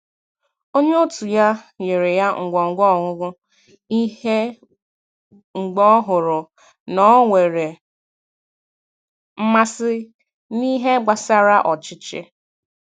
Onye otu ya nyere ya ngwo ngwo ọmụmụ ihe mgbe ọ hụrụ na o nwere mmasị n'ihe gbasara ọchịchị